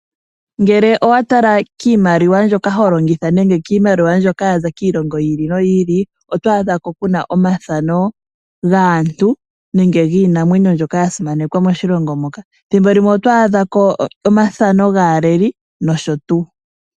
Ngele owa tala kiimaliwa mbyoka ho longitha nenge kiimaliwa mbyoka ya za kiilongo yiili noyiili, oto adha ku na omathano gaantu nenge giinamwenyo ndjoka ya simanekwa moshilongo moka. Ethimbo limwe oto adha ko omathano gaaleli.